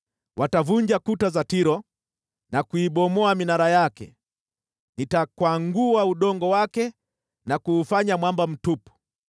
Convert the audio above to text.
Watavunja kuta za Tiro na kuibomoa minara yake, nitakwangua udongo wake na kuufanya mwamba mtupu.